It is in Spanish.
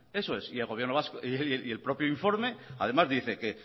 eso es y el propio informe además dice que